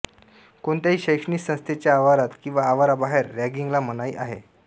कोणत्याही शैक्षणिक संस्थेच्या आवारात किंवा आवाराबाहेर रॅगिंगला मनाई आहे